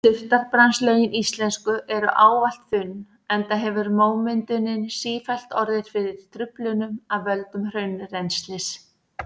Surtarbrandslögin íslensku eru ávallt þunn enda hefur mómyndunin sífellt orðið fyrir truflunum af völdum hraunrennslis.